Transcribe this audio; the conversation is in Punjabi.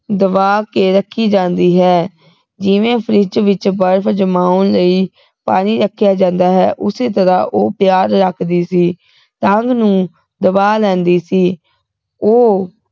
ਦਬਾ ਕੇ ਰਖੀ ਜਾਂਦੀ ਹੈ ਜਿਵੇਂ ਫਰਿਜ ਵਿਚ ਬਰਫ ਜਮਾਉਣ ਲਈ ਪਾਣੀ ਰੱਖਿਆ ਜਾਂਦਾ ਹੈ ਉਸੇ ਤਰਾਹ ਉਹ ਪਿਆਰ ਰੱਖਦੀ ਸੀ ਤਾਂਘ ਨੂੰ ਦਬਾ ਲੈਂਦੀ ਸੀ ਉਹ